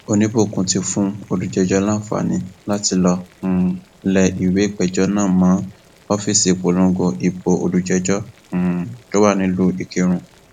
oníbòkun ti fún olùpẹjọ láǹfààní láti lọọ um lẹ ìwé ìpéjọ náà mọ ọfíìsì ìpolongo ìbò olùjẹjọ um tó wà nílùú ìkírùn